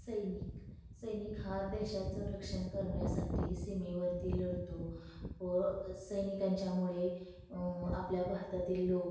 सैनिक सैनिक हा देशाच रक्षण करण्यासाठी सीमेवरती लढतो व सैनिकांच्यामूळे अ आपल्या भारतातील लोक--